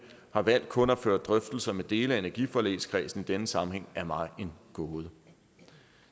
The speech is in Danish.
har valgt kun at føre drøftelser med dele af energiforligskredsen i denne sammenhæng er mig en gåde